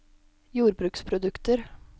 jordbruksprodukter